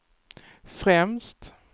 främst